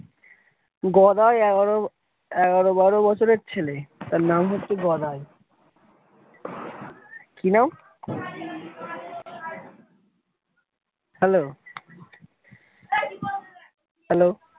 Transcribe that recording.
গদাই এগারো এগারো বারো বছরের ছেলে তার নাম হচ্ছে গদাই কি নাম hello hello